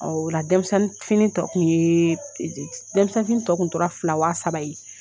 Ɔ ola denmisɛnnin fini tɔ kun yee denmisɛnnin fini tɔ kun tora fila waa saba ye